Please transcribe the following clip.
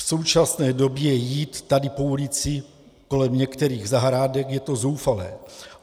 V současné době jít tady po ulici kolem některých zahrádek, to je zoufalé.